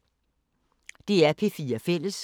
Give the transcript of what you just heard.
DR P4 Fælles